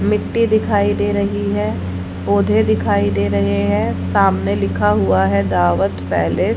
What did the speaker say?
मिट्टी दिखाई दे रही है। पौधे दिखाई दे रहे हैं। सामने लिखा हुआ है दावत पैलेस ।